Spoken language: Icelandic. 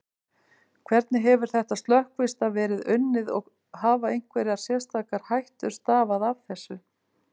Hvernig hefur þetta slökkvistarf verið unnið og hafa einhverjar sérstakar hættur stafað af þessu?